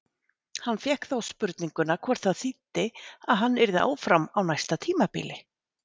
Hann fékk þá spurninguna hvort það þýddi að hann yrði áfram á næsta tímabili?